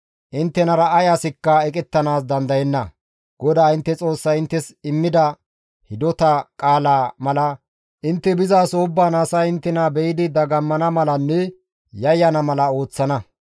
Inttenara ay asikka eqettanaas dandayenna; GODAA intte Xoossay inttes immida hidota qaalaa mala intte bizaso ubbaan asay inttena be7idi dagammana malanne yayyana mala ooththana.